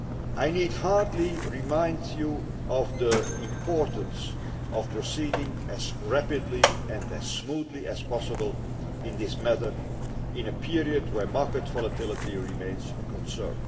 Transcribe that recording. I need hardly remind you of the importance of proceeding as rapidly and as smoothly as possible in this matter in a period where market volatility remains a concern.